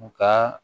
U ka